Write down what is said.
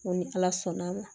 Ko ni ala sɔnn'a ma